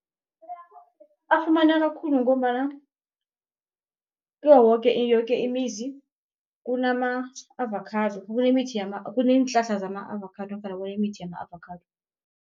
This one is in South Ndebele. Afumaneka khulu ngombana kiwo woke yoke imizi, kunama avakhado kunemithi kuneenhlahla zama-avakhado nofana kunemithi yama-avakhado.